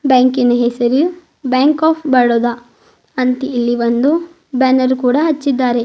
ಬ್ಯಾಂಕಿನ ಹೆಸರು bank of Baroda ಅಂತ್ ಇಲ್ಲಿ ಒಂದು ಬ್ಯಾನರ್ ಕೂಡ ಹಚ್ಚಿದ್ದಾರೆ.